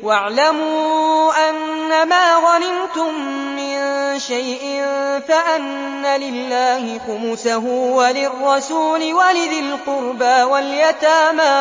۞ وَاعْلَمُوا أَنَّمَا غَنِمْتُم مِّن شَيْءٍ فَأَنَّ لِلَّهِ خُمُسَهُ وَلِلرَّسُولِ وَلِذِي الْقُرْبَىٰ وَالْيَتَامَىٰ